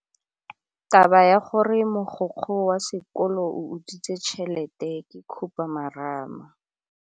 Taba ya gore mogokgo wa sekolo o utswitse tšhelete ke khupamarama.